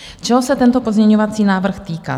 Čeho se tento pozměňovací návrh týká?